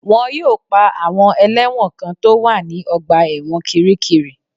Wọ́n yóò pa àwọn ẹlẹ́wọ̀n kan tó wà ní ọgbà ẹ̀wọ̀n kiríkirì